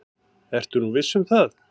Ertu nú viss um það?